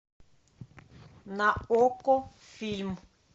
на окко фильм